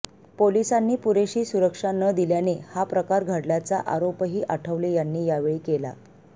पोलिसांनी पुरेशी सुरक्षा न दिल्याने हा प्रकार घडल्याचा आरोपही आठवले यांनी यावेळी केला